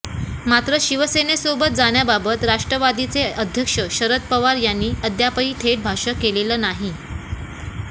मात्र शिवसेनेसोबत जाण्याबाबत राष्ट्रवादीचे अध्यक्ष शरद पवार यांनी अद्यापही थेट भाष्य केलेलं नाही